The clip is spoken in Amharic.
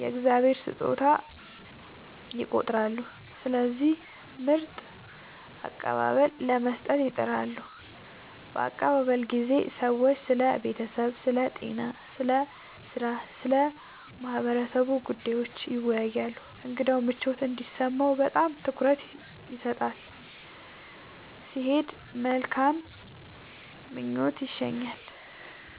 “የእግዚአብሔር ስጦታ” ይቆጥራሉ፣ ስለዚህ ምርጥ አቀባበል ለመስጠት ይጥራሉ። በአቀባበል ጊዜ ሰዎች ስለ ቤተሰብ፣ ስለ ጤና፣ ስለ ሥራ እና ስለ ማህበረሰቡ ጉዳዮች ይወያያሉ። እንግዳው ምቾት እንዲሰማው በጣም ትኩረት ይሰጣል፣ ሲሄድም በመልካም ምኞት ይሸኛል።